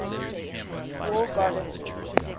war goddesses